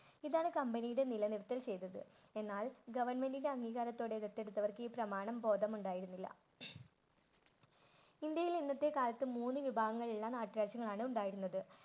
ഇതാണ് കമ്പനിയുടെ നിലനിൽപ്പിന് ചെയ്തത്. എന്നാൽ goverment ൻറെ അംഗീകാരത്തോടെ ദെത്തെടുത്തവർക്ക് ഈ പ്രമാണം ബോധമുണ്ടായിരുന്നില്ല. ഇന്ത്യയിൽ ഇന്നത്തെ കാലത്ത് മൂന്ന് വിഭാഗങ്ങളുള്ള നാട്ട് രാജ്യങ്ങളാണുണ്ടായിരുന്നത്.